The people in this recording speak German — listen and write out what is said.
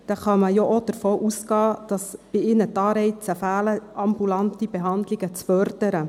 Dann kann man ja auch davon ausgehen, dass bei ihnen die Anreize fehlen, ambulante Behandlungen zu fördern.